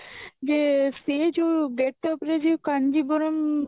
ଯେ ସେ ଯୋଉ get up ରେ କାଞ୍ଜିବରମ